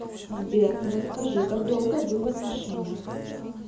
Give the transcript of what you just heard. сбер расскажи как долго вы в отношениях